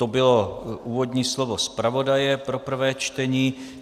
To bylo úvodní slovo zpravodaje pro prvé čtení.